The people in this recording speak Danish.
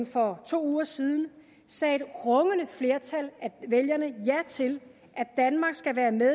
for to uger siden sagde et rungende flertal af vælgerne ja til at danmark skal være med